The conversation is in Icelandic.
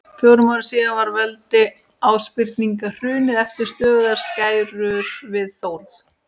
Fjórum árum síðar var veldi Ásbirninga hrunið eftir stöðugar skærur við Þórð.